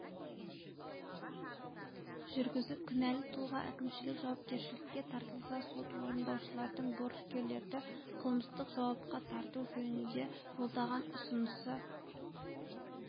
жүргізіп кінәлі тұлға әкімшілік жауапкершілікке тартылса сот орындаушылардың борышкерлерді қылмыстық жауапқа тарту жөнінде жолдаған ұсынысы